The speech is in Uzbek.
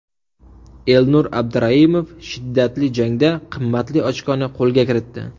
Elnur Abduraimov shiddatli jangda qimmatli ochkoni qo‘lga kiritdi.